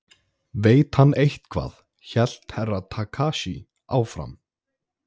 Veit hann eitthvað hélt Herra Takashi áfram.